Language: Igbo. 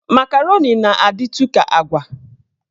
Makaroni na-adịtụ ka agwa.